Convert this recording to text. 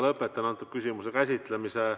Lõpetan selle küsimuse käsitlemise.